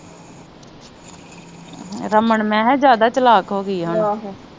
ਰਮਨ ਮੈ ਕਿਹਾ ਜਿਆਦਾ ਈ ਚਲਾਕ ਹੋਗੀਆਂ ਆ ਹੁਣ